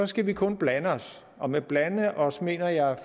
skal vi kun blande os og med blande os mener jeg